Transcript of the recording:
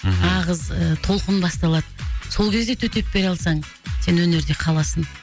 мхм нағыз ы толқын басталады сол кезде төтеп бере алсаң сен өнерде қаласың